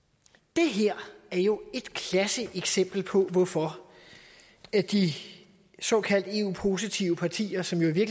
det her er jo et klassisk eksempel på hvorfor de såkaldte eu positive partier som jo i